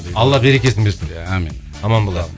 алла берекесін берсін де амин аман болалым